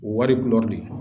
O wari de